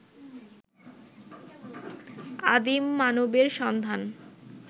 আদিম মানবের সন্ধান